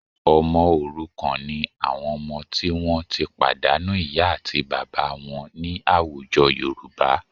Ọmọ òrukàn ni àwọn ọmọ tí wọ́n ti pàdánù ìyá àti bàbá wọn ní àwùjọ Yorùbá